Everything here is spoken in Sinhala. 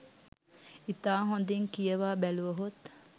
ඉතා හොඳින් කියවා බැලුවහොත්